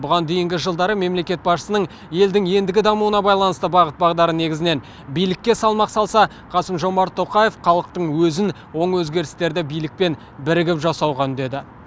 бұған дейінгі жылдары мемлекет басшысының елдің ендігі дамуына байланысты бағыт бағдары негізінен билікке салмақ салса қасым жомарт тоқаев халықтың өзін оң өзгерістерді билікпен бірігіп жасауға үндеді